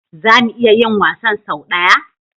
Za mu iya yin wasan sau ɗaya?